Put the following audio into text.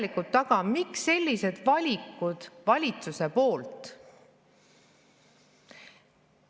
Miks on valitsus teinud sellised valikud?